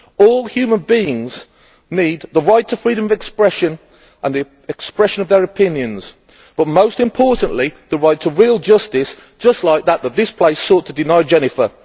All human beings need the right to freedom of expression and the expression of their opinions, but most importantly the right to wield justice just like that which this place sought to deny Jennifer.